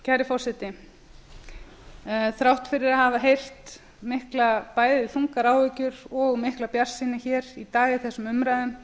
kæri forseti þrátt fyrir að hafa heyrt mikla bæði þungar áhyggjur og mikla bjartsýni hér í dag í þessum umræðum